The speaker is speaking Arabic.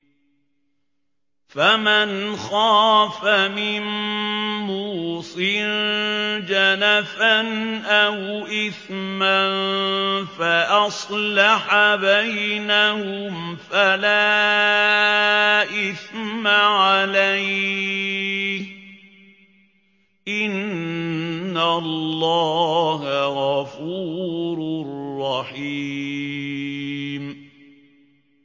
فَمَنْ خَافَ مِن مُّوصٍ جَنَفًا أَوْ إِثْمًا فَأَصْلَحَ بَيْنَهُمْ فَلَا إِثْمَ عَلَيْهِ ۚ إِنَّ اللَّهَ غَفُورٌ رَّحِيمٌ